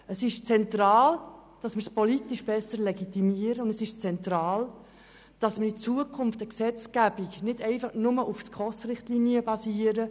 Es ist zentral, dass wir sie politisch besser legitimieren und es ist zentral, dass in Zukunft eine Gesetzgebung nicht einfach nur auf den SKOS-Richtlinien basiert.